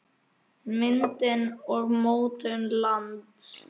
Myndun og mótun lands